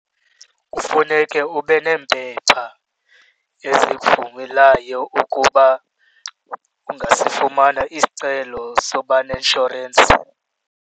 Kufuneke ube neempepha ezikuvumelayo ukuba ungasifumana isicelo sokuba neinshorensi.